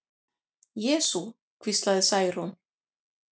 Jesú, hvíslaði Særún.